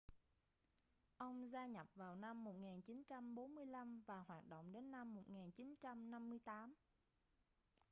ông gia nhập vào năm 1945 và hoạt động đến năm 1958